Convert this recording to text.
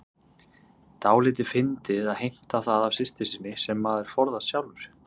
Dálítið fyndið að heimta það af systur sinni sem maður forðast sjálfur.